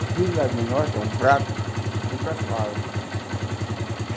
Os pires lá do norte é um prato, é um prato raso.